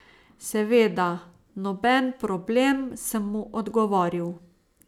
Seveda, noben problem, sem mu odgovoril.